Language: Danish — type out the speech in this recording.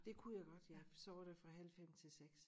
Det kunne jeg godt ja så var det fra halv 5 til 6